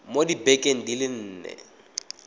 mo dibekeng di le nne